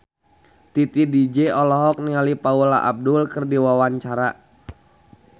Titi DJ olohok ningali Paula Abdul keur diwawancara